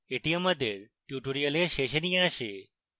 এটি আমাদের tutorial শেষে নিয়ে আসে